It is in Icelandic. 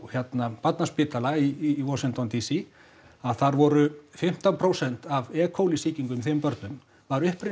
barnaspítala í Washington d c að þar voru fimmtán prósent af sýkingum í þeim börnum voru upprunnin